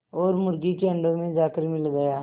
और मुर्गी के अंडों में जाकर मिल गया